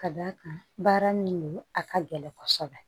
Ka d'a kan baara min don a ka gɛlɛn kɔsɔbɛ